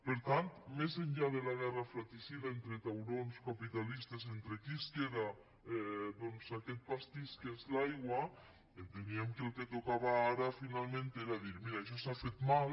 per tant més enllà de la guerra fratricida entre taurons capitalistes entre qui es queda doncs aquest pastís que és l’aigua enteníem que el que tocava ara finalment era dir mira això s’ha fet mal